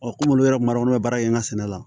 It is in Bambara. komi olu yɛrɛ ma olu bɛ baara kɛ n ka sɛnɛ la